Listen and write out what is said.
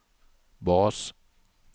bas